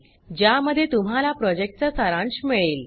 ज्यामध्ये तुम्हाला प्रॉजेक्टचा सारांश मिळेल